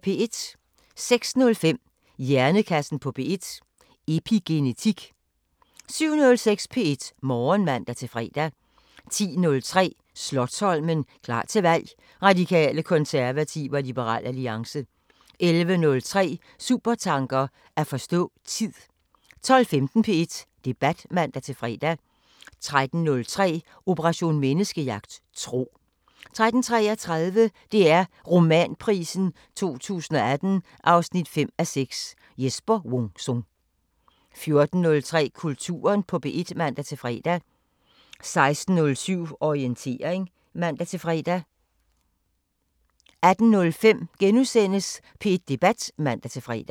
06:05: Hjernekassen på P1: Epigenetik 07:06: P1 Morgen (man-fre) 10:03: Slotsholmen – klar til valg: Radikale, konservative og Liberal Alliance 11:03: Supertanker: At forstå tid 12:15: P1 Debat (man-fre) 13:03: Operation Menneskejagt: Tro 13:33: DR Romanprisen 2018 5:6 – Jesper Wung Sung 14:03: Kulturen på P1 (man-fre) 16:07: Orientering (man-fre) 18:05: P1 Debat *(man-fre)